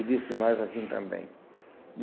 E disse mais assim também.